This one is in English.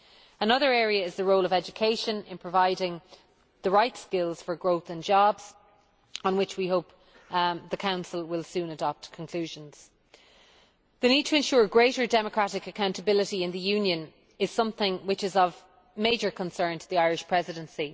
Another area is the role of education in providing the right skills for growth and jobs, on which we hope the Council will soon adopt conclusions. The need to ensure greater democratic accountability in the Union is something which is of major concern to the Irish Presidency.